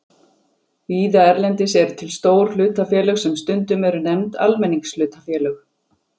Víða erlendis eru til stór hlutafélög sem stundum eru nefnd almenningshlutafélög.